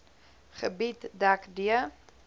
gebied dek d